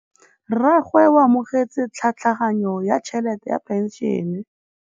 Rragwe o amogetse tlhatlhaganyô ya tšhelête ya phenšene.